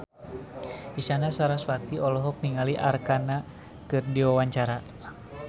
Isyana Sarasvati olohok ningali Arkarna keur diwawancara